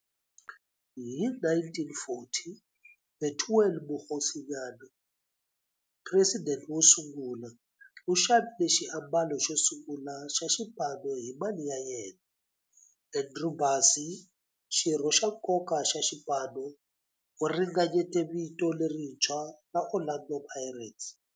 Hi 1940, Bethuel Mokgosinyane, president wosungula, u xavile xiambalo xosungula xa xipano hi mali ya yena. Andrew Bassie, xirho xa nkoka xa xipano, u ringanyete vito lerintshwa ra 'Orlando Pirates'.